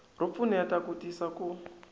ro pfuneta ku tisa ku